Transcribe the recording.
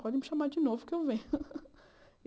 Pode me chamar de novo que eu venho.